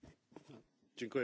Panie Przewodniczący!